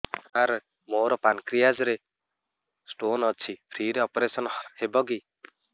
ସାର ମୋର ପାନକ୍ରିଆସ ରେ ସ୍ଟୋନ ଅଛି ଫ୍ରି ରେ ଅପେରସନ ହେବ କି